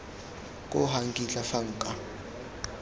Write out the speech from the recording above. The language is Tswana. koo ga nkitla fa nka